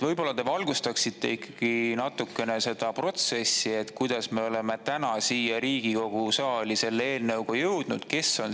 Võib-olla te valgustaksite ikkagi natukene seda, räägiksite sellest protsessist ja sellest, kuidas me oleme tänaseks selle eelnõuga siia Riigikogu saali jõudnud?